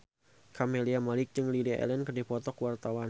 Camelia Malik jeung Lily Allen keur dipoto ku wartawan